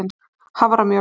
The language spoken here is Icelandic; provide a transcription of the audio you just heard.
haframjöl